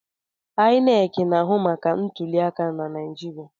INEC na-ahụ maka ọrụ ntuliaka na Naịjirịa.